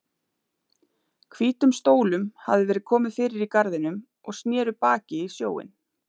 Hvítum stólum hafði verið komið fyrir í garðinum og sneru baki í sjóinn.